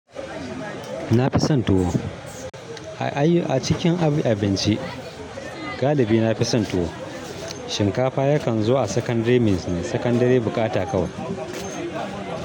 Na fi son tuwo. Ai acikin abinci galibi na fi son tuwo. Shinkafa yakan zo a secondary means ne, secondary buƙata kawai.